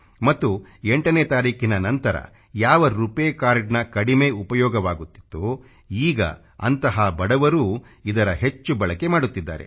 ಮತ್ತು ಎಂಟನೇ ತಾರೀಖಿನ ನಂತರ ಯಾವ ರೂಪಾಯ್ ಕಾರ್ಡ್ ಕಡಿಮೆ ಉಪಯೋಗವಾಗುತ್ತಿತ್ತೊ ಈಗ ಅಂತ ಬಡವರೂ ಇದರ ಹೆಚ್ಚು ಬಳಕೆ ಮಾಡುತ್ತಿದ್ದಾರೆ